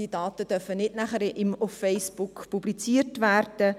Diese Daten dürfen dann nicht auf Facebook publiziert werden.